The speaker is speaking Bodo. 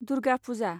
दुर्गा पुजा